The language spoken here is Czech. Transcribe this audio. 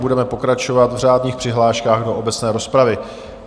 Budeme pokračovat v řádných přihláškách do obecné rozpravy.